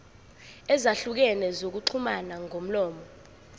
ezahlukene zokuxhumana ngomlomo